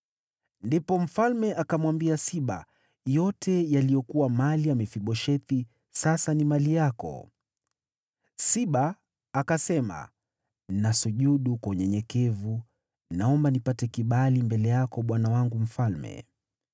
Ndipo mfalme akamwambia Siba, “Yote yaliyokuwa mali ya Mefiboshethi sasa ni mali yako.” Siba akasema, “Nasujudu kwa unyenyekevu. Naomba nipate kibali mbele yako, bwana wangu mfalme.”